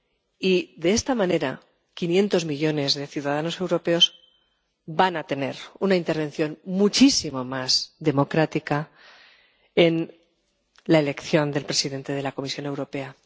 Y, de esta manera, 500 millones de ciudadanos europeos van a tener una intervención muchísimo más democrática en la elección del presidente de la Comisión Europea.